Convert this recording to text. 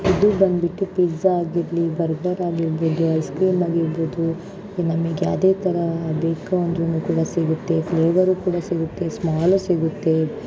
ಇದು ಬಂಡ್ಬಿಟ್ಟಿ ಪಿಜ್ಜಾ ಆಗಿರಲಿ ಬರ್ಗರ್ ಆಗಿರ್ಬೋದು ಐಸ್ಕ್ರೀಮ್ ಆಗಿರ್ಬೊದೂ ಉಮ್ ನಮಿಗ್ ಯಾವ್ದೇ ತರ ಬೇಕು ಅಂದ್ರುನು ಕೂಡ ಸಿಗುತ್ತೆ ಫ್ಲೇವರು ಕೂಡ ಸಿಗುತ್ತೆ ಸ್ಮಾಲು ಸಿಗುತ್ತೆ.